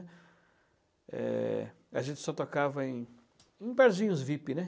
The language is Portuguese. é... A gente só tocava em em barzinhos vip, né?